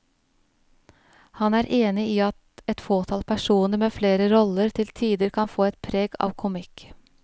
Han er enig i at et fåtall personer med flere roller til tider kan få et preg av komikk.